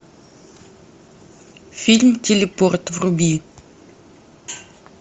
фильм телепорт вруби